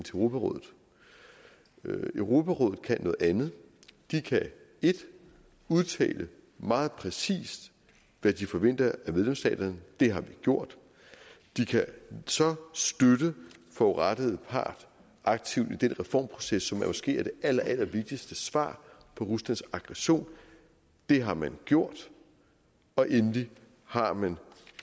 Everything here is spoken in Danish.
europarådet europarådet kan noget andet de kan udtale meget præcist hvad de forventer af medlemsstaterne det har vi gjort de kan så støtte den forurettede part aktivt i den reformproces som måske er det allerallervigtigste svar på ruslands aggression det har man gjort og endelig har man